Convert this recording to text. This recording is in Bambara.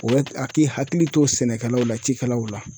O ye haki hakili to sɛnɛkɛlaw la cikɛlaw la.